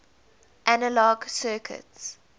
analog circuits